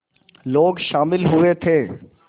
लोग शामिल हुए थे